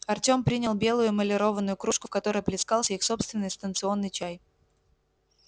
артём принял белую эмалированную кружку в которой плескался их собственный станционный чай